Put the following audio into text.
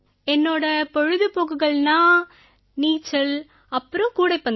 என்னோட பொழுதுபோக்குகள்னா நீச்சல் அப்புறம் கூடைப்பந்து